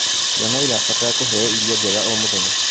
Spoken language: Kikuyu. Ciana irabatara kũheo irio njega o mũthenya